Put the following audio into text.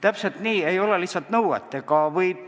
Täpselt nii, ei ole lihtsalt enam seda nõuet.